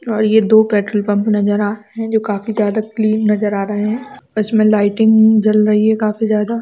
और ये दो पेट्रोल पंप नज़र आ रहे हैं जो काफी ज्यादा क्लीन नज़र आ रहे है जिसमे लाइटिंग जल रही काफी ज्यादा--